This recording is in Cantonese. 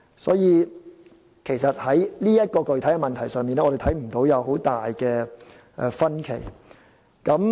所以，在這個具體問題上，我們看不到有很大分歧。